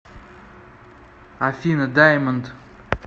афина даймонд